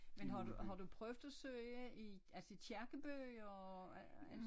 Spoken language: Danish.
Men har du har du prøvet at søge i altså kirkebøger og alt sådan